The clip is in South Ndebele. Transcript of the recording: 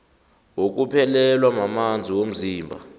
wokuphelelwa mamanzi womzimba